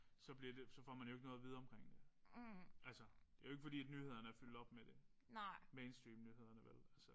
Så bliver det så får man jo ikke noget at vide omkring det. Altså det jo ikke fordi at nyhederne de er fyldt op af det. Mainstreamnyhederne vel altså